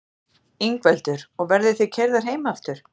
Ingveldur: Og verðið þið keyrðar heim aftur?